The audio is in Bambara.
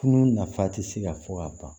Tunu nafa ti se ka fɔ ka ban